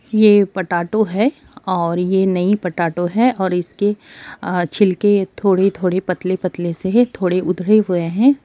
ये पटैटो है और ये नई पटैटो है और इसके छिलके थोड़े-थोड़े पतले-पतले से है थोड़े उधड़े हुए है।